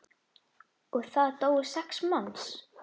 Og það dóu sex manns.